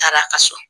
Taara a ka so